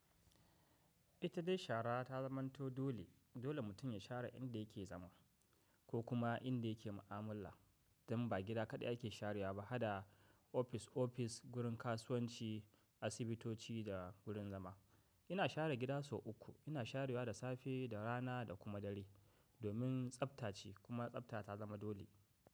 Ita dai shara ta zamanto dole, dole mutum ya shara inda yake zama ko kuma inda yake mu'amala. Dan ba gida kaɗai ake sharewa ba, haɗa ofis-ofis, gurin kasuwanci, asibitoci da gurin zama. Ina share gida sau uku, ina sharyawa da safe, da rana da kuma dare. Domin tsafta ce kuma tsafta ta zama dole.